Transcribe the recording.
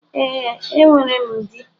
E, a nwèrém dí.